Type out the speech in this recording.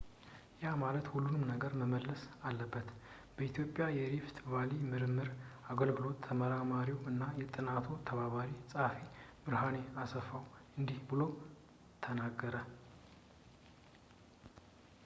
ያ ማለት ሁሉም ነገር መመለስ አለበት በኢትዮጵያ የሪፍት ቫሊ ምርምር አገልግሎት ተመራማሪው እና የጥናቱ ተባባሪ ጸሀፊው ብርሃኔ አስፋው እንዲህ ብሎ ተናገረ